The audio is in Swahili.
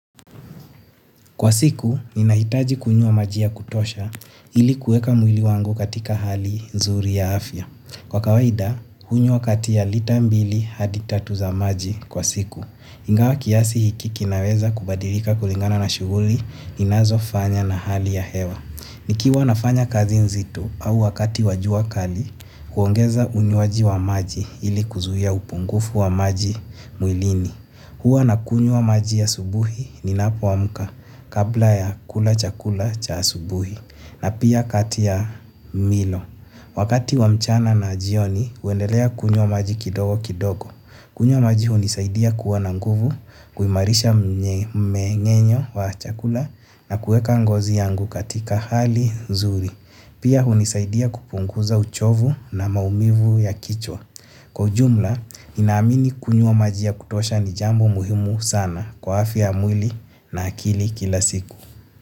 Kwa siku, ninahitaji kunywa maji ya kutosha ili kuweka mwili wangu katika hali nzuri ya afya. Kwa kawaida, hunywa kati ya lita mbili hadi tatu za maji kwa siku. Ingawa kiasi hiki kinaweza kubadilika kulingana na shughuli, ninazofanya na hali ya hewa. Nikiwa nafanya kazi nzito au wakati wa jua kali, huongeza unywaji wa wa maji ili kuzuia upungufu wa maji mwilini. Huwa nakunywa maji asubuhi ninapoamka kabla ya kula chakula cha asubuhi na pia kati ya milo. Wakati wa mchana na jioni huendelea kunywa maji kidogo kidogo. Kunywa maji hunisaidia kuwa na nguvu, kuimarisha mmeng'enyo wa chakula na kuweka ngozi yangu katika hali nzuri. Pia hunisaidia kupunguza uchovu na maumivu ya kichwa. Kwa ujumla, ninaamini kunywa maji ya kutosha ni jambo muhimu sana kwa afya ya mwili na akili kila siku.